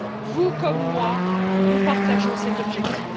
Vous, comme moi, nous partageons cet objectif.